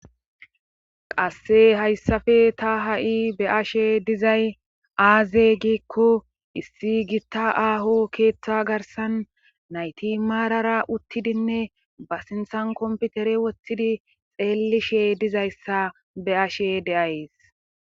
Qasse hayssafe ta ha7i be ashe dizay aaze giikko issi gitta aaho keeththa garsan nayti maarara uttidinne ba sinthan komputere woththidi xeellishe dizayssa be ashe deays